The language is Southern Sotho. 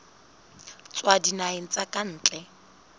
tswa dinaheng tsa ka ntle